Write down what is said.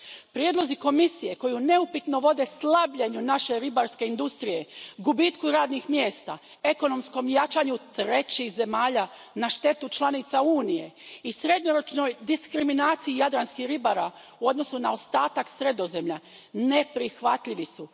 Prijedlozi Komisije koji neupitno vode slabljenju naše ribarske industrije, gubitku radnih mjesta, ekonomskom jačanju trećih zemalja na štetu članica Unije i srednjoročnoj diskriminaciji jadranskih ribara u odnosu na ostatak Sredozemlja, neprihvatljivi su.